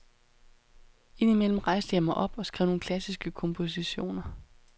Ind imellem rejste jeg mig op og skrev nogle klassiske kompositioner.